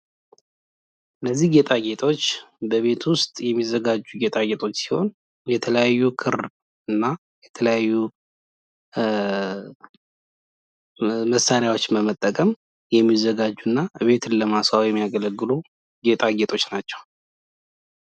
እነዚህ ጌጣጌጦች በቤት ዉስት የሚዘጋጁ ጌጣጌጦች ሲሆኑ፤ የተለያዩ ክር እና የተለያዩ መሳሪያዎችን በመጠቀም ቤትን ለማስዋብ የሚያገለግሉ ጌጣጌጦች ናቸዉ።